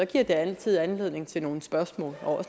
det altid anledning til nogle spørgsmål